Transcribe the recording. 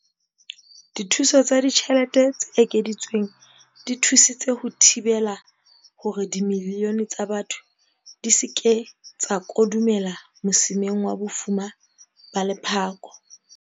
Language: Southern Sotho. Dithuso tsa ditjhelete tse ekeditsweng di thusitse ho thibela hore dimilione tsa batho di se ke tsa kodumela mosimeng wa bofuma ba lephako.